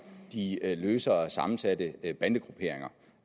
de løsere sammensatte bandegrupperinger